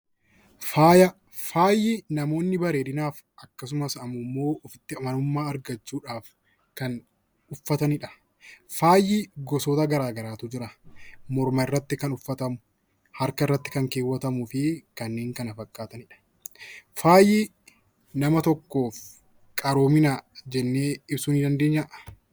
Faaya Faayi namoonni bareedinaaf akkasumas ammoo ifitti amanamummaa argachuu dhaaf kan uffatani dha. Faayi gosoota garaa garaa tu jira. Morma irratti kan uffatamu, Harka irratti kan keewwatamuu fi kanneen kana fakkaatani dha. Faayi nama tokkoof qaroomina jennee ibsuu nii dandeenyaa?